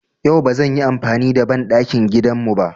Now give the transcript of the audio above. Yau ba zan yi amfani da banɗakin gidan mu ba.